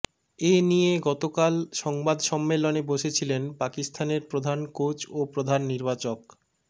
এ নিয়ে গতকাল সংবাদ সম্মেলনে বসেছিলেন পাকিস্তানের প্রধান কোচ ও প্রধান নির্বাচক